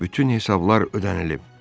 Bütün hesablar ödənilib.